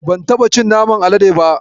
Ban taɓa cin naman alade ba.